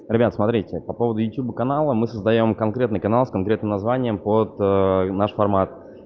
ребят смотрите по поводу ютюба канала мы создаём конкретный канал с конкретным названием под наш формат